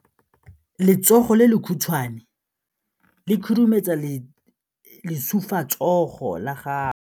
Letsogo le lekhutshwane le khurumetsa lesufutsogo la gago.